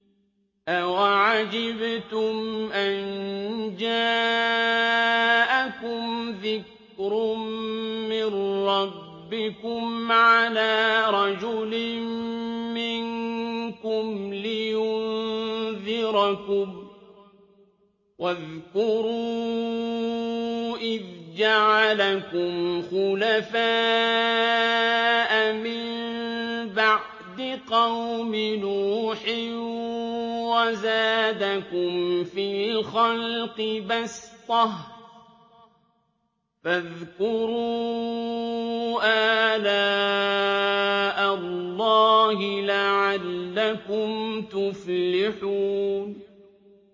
أَوَعَجِبْتُمْ أَن جَاءَكُمْ ذِكْرٌ مِّن رَّبِّكُمْ عَلَىٰ رَجُلٍ مِّنكُمْ لِيُنذِرَكُمْ ۚ وَاذْكُرُوا إِذْ جَعَلَكُمْ خُلَفَاءَ مِن بَعْدِ قَوْمِ نُوحٍ وَزَادَكُمْ فِي الْخَلْقِ بَسْطَةً ۖ فَاذْكُرُوا آلَاءَ اللَّهِ لَعَلَّكُمْ تُفْلِحُونَ